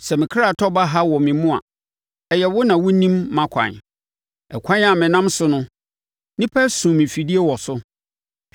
Sɛ me ɔkra tɔ baha wɔ me mu a, ɛyɛ wo na wonim mʼakwan. Ɛkwan a menam so no nnipa asum me afidie wɔ so.